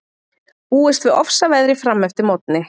Búist við ofsaveðri fram eftir morgni